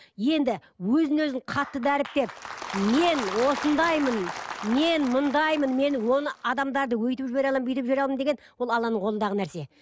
енді өзін өзін қатты дәріптеп мен осындаймын мен мындаймын мен оны адамдарды өйтіп жібере аламын бүйтіп жібере аламын деген ол алланың қолындағы нәрсе